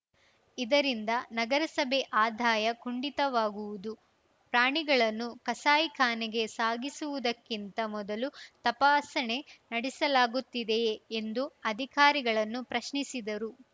ಇದರಿಂದ ನಗರಸಭೆ ಆದಾಯ ಕುಂಠಿತವಾಗುವುದು ಪ್ರಾಣಿಗಳನ್ನು ಕಸಾಯಿ ಖಾನೆಗೆ ಸಾಗಿಸುವುದಕ್ಕಿಂತ ಮೊದಲು ತಪಾಸಣೆ ನಡೆಸಲಾಗುತ್ತಿದೆಯೇ ಎಂದು ಅಧಿಕಾರಿಗಳನ್ನು ಪ್ರಶ್ನಿಸಿದರು